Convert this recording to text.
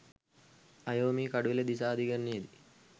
අයෝමි කඩුවෙල දිසා අධිකරණයේදී